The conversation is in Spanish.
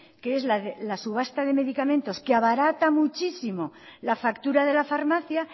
que es la subasta de medicamentos que abarata muchísimo la factura de la farmacia